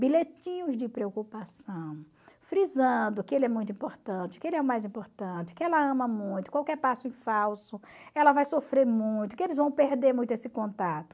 bilhetinhos de preocupação, frisando que ele é muito importante, que ele é o mais importante, que ela ama muito, qualquer passo em falso, ela vai sofrer muito, que eles vão perder muito esse contato.